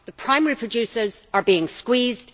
The primary producers are being squeezed